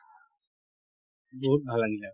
বহুত ভাল লাগিলে